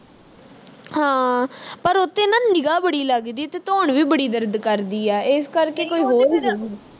ਹਾਂ ਪਰ ਉਥੇ ਨਾ ਨਿਗਾ ਬੜੀ ਲੱਗਦੀ ਤੇ ਧੌਣ ਵੀ ਬੜੀ ਦਰਦ ਕਰਦੀ ਆ ਇਸ ਕਰਕੇ ਕੋਈ ਹੋਰ